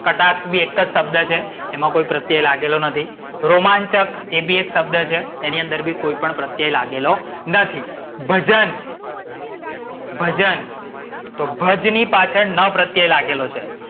કટાક્ષ બી એક જ શબ્દ છે એમાં કોઈ પ્રત્યય લાગેલો નથી. રોમાંચક એ બી એક શબ્દ છે. એમાં બી કોઈ પ્રત્યય લાગેલો નથી. ભજન. ભજન તો ભજની પાછડ ન પ્રત્યય લાગેલો છે.